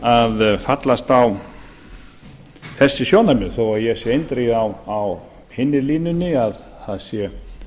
að fallast á þessi sjónarmið þó ég sé eindregið á hinni línunni að það sé